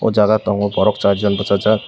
jaga tango borok charjon bwsajak.